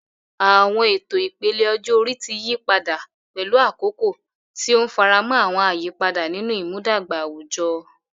Àwọn ètò ìpele ọjọ́ orí ti yí padà pẹ̀lú àkókò, tí ó ń faramọ́ àwọn àyípadà nínú ìmúdàgba àwùjọ.